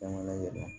Jamana yɛrɛ la